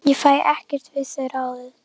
Ég fæ ekkert við þau ráðið.